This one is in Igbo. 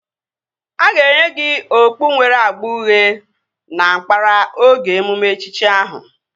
A ga-enye gị okpu nwere agba uhie na nkpara oge emume echichi ahụ